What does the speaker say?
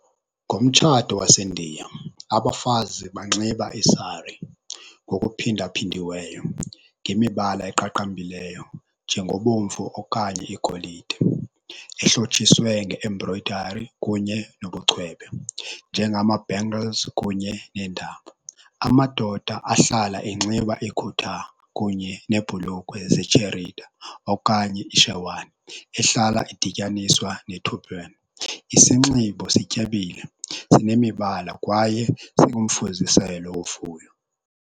Ngomtshato waseNdiya, abafazi banxiba isari ngokuphindaphindiweyo ngemibala eqaqambileyo njengobomvu okanye igolide, ehlotshiswe nge-embroidery kunye nobucwebe njengama-bangles kunye neentambo. Amadoda ahlala enxiba ikhutha kunye neebhulukhwe zetsherida okanye ishewani ehlala idityaniswa ne-turban. Isinxibo sityebile sinemibala kwaye singumfuziselo wovuyo.